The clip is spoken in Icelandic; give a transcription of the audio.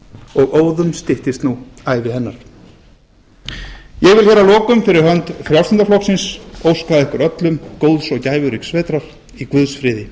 og óðum styttist nú ævi hennar ég vil að lokum fyrir hönd frjálslynda flokksins óska ykkur öllum góðs og gæfuríks vetrar í guðs friði